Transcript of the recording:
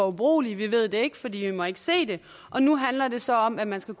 ubrugelige vi ved det ikke for vi må ikke se det og nu handler det så om at man skal